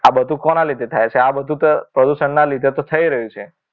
આ બધું કોના લીધે થાય છે આ બધું તો પ્રદૂષણના લીધે તો થઈ રહ્યું છે